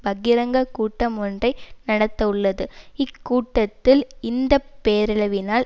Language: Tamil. பகிரங்க கூட்டம் ஒன்றை நடத்தவுள்ளது இக்கூட்டத்தில் இந்த பேரழிவினால்